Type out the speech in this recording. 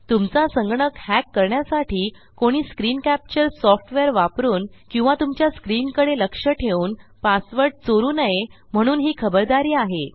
तुमचा संगणक हॅक करण्यासाठी कोणी स्क्रीन कॅप्चर softwareवापरून किंवा तुमच्या स्क्रीनकडे लक्ष ठेवून पासवर्ड चोरू नये म्हणून ही खबरदारी आहे